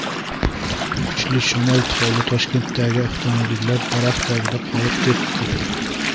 Kuchli shamol tufayli Toshkentdagi avtomobillar daraxt tagida qolib ketdi .